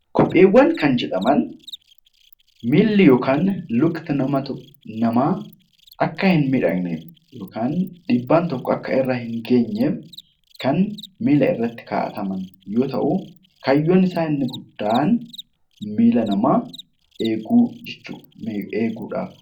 Kopheewwan kan jedhaman miilli yookaan luki namaa Akka hin miidhamneef yookiin dhiibbaan tokko Akka irra hin geenyeef kan miilarratti kaawwaman yoo ta'u kaayyoon isaanii inni guddaan miila namaa eeguuf